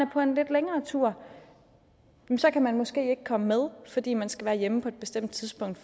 på en lidt længere tur kan man måske ikke komme med fordi man skal være hjemme på et bestemt tidspunkt